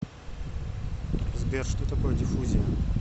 сбер что такое диффузия